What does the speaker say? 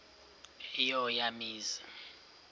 eyo eya mizi